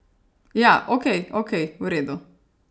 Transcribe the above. Ja, ok, ok, v redu.